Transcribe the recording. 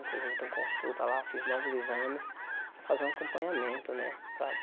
Inclusive eu tenho consulta lá, fiz novos exames para fazer um acompanhamento, né? Para